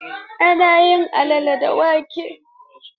Ana yin alala daga wake.